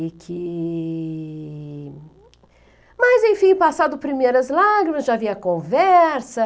E que... Mas, enfim, passado primeiras lágrimas, já havia conversa.